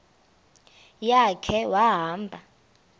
ya khe wahamba